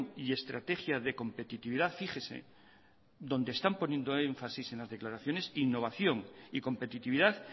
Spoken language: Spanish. y estrategia de competitividad fíjese donde están poniendo énfasis en las declaraciones innovación y competitividad